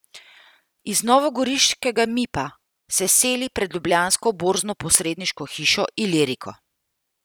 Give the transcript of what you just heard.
Iz novogoriškega Mipa se seli pred ljubljansko borznoposredniško hišo Iliriko.